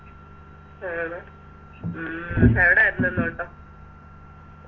ആണോ ഉം എവിടര്ന്ന് ഇന്ന് ഓട്ടം